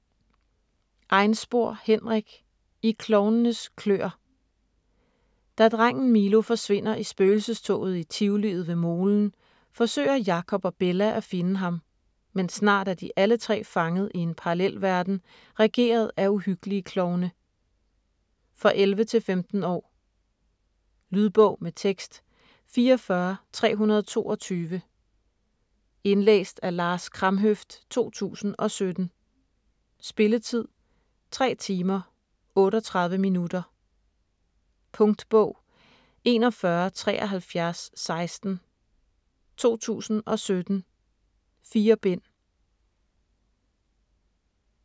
Einspor, Henrik: I klovnenes kløer Da drengen Milo forsvinder i spøgelsestoget i tivoliet ved molen, forsøger Jacob og Bella at finde ham, men snart er de alle tre fanget i en parallelverden regeret af uhyggelige klovne. For 11-15 år. Lydbog med tekst 44322 Indlæst af Lars Kramhøft, 2017. Spilletid: 3 timer, 38 minutter. Punktbog 417316 2017. 4 bind.